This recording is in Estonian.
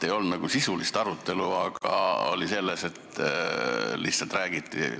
Ei olnud nagu sisulist arutelu, vaid lihtsalt räägiti.